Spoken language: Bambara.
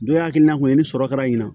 Dɔ y'a hakilina kɔni sɔrɔ kɛra nin na